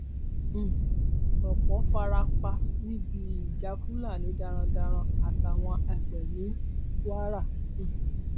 um ọpọ fara pa níbi ìjà fúlàní darandaran àtàwọn àgbẹ ní kwara um